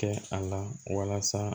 Kɛ a la walasa